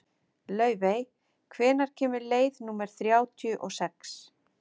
Laufey, hvenær kemur leið númer þrjátíu og sex?